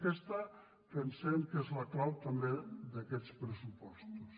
aquesta pensem que és la clau també d’aquests pressupostos